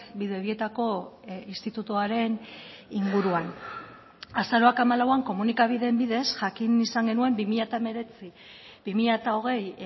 bidebietako institutuaren inguruan azaroak hamalauan komunikabideen bidez jakin izan genuen bi mila hemeretzi bi mila hogei